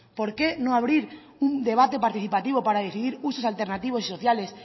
por qué no abrir un debate participativo para decidir usos alternativos y sociales